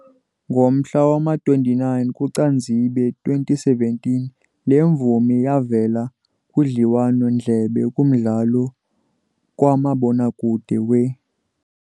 Ngomhla wama-29 kuCanzibe 2017 le mvumi yavela kudliwano-ndlebe kumdlalo kamabonakude we